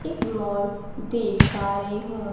एक मॉल देख पा रही हूं।